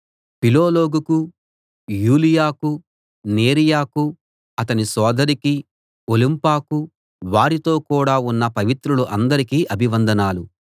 పిలొలొగుకు యూలియాకు నేరియకు అతని సోదరికీ ఒలుంపాకు వారితో కూడా ఉన్న పవిత్రులు అందరికీ అభివందనాలు